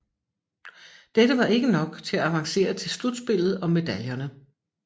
Dette var ikke nok til at avancere til slutspillet om medaljerne